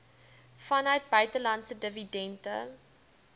vanuit buitelandse dividende